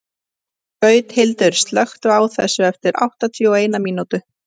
Gauthildur, slökktu á þessu eftir áttatíu og eina mínútur.